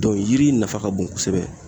Dɔn yiri nafa ka bon kosɛbɛ